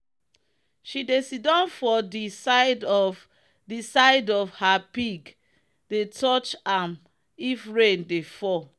she dey siddon for de side of de side of her pig the touch am if rain dey fall.